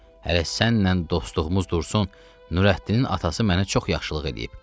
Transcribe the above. Hələ sənlə dostluğumuz dursun, Nurəddinin atası mənə çox yaxşılıq eləyib.